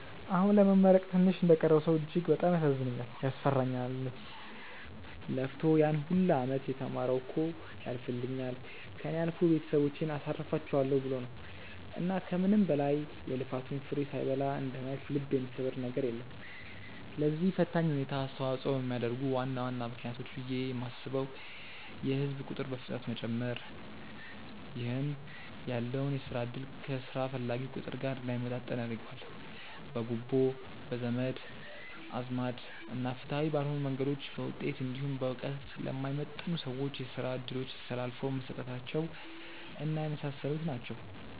አሁን ለመመረቅ ትንሽ እንደቀረው ሰው እጅግ በጣም ያሳዝነኛልም፤ ያስፈራኛልም። ለፍቶ ያን ሁላ አመት የተማረው እኮ ያልፍልኛል፣ ከእኔ አልፎ ቤተሰቦቼን አሳርፋቸዋለው ብሎ ነው። እና ከምንም በላይ የልፋቱን ፍሬ ሳይበላ እንደማየት ልብ የሚሰብር ነገር የለም። ለዚህ ፈታኝ ሁኔታ አስተዋጽኦ የሚያደርጉ ዋና ዋና ምክንያቶች ብዬ የማስበው የህዝብ ቁጥር በፍጥነት መጨመር ( ይህ ያለውን የስራ እድል ከስራ ፈላጊው ቁጥር ጋር እንዳይመጣጠን ያደርገዋል።) ፣ በጉቦ፣ በዘመድ አዝማድ እና ፍትሃዊ ባልሆኑ መንገዶች በውጤት እንዲሁም በእውቀት ለማይመጥኑ ሰዎች የስራ እድሎች ተላልፈው መሰጠታቸው እና የመሳሰሉት ናቸው።